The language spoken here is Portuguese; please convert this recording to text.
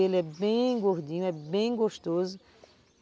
Ele é bem gordinho, é bem gostoso.